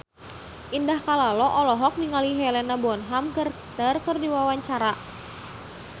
Indah Kalalo olohok ningali Helena Bonham Carter keur diwawancara